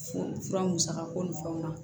Fo fura musaka ko ni fɛnw na